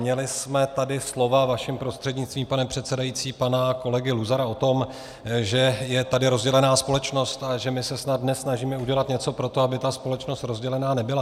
Měli jsme tady slova, vaším prostřednictvím, pane předsedající, pana kolegy Luzara o tom, že je tady rozdělená společnost a že my se snad dnes snažíme udělat něco pro to, aby ta společnost rozdělená nebyla.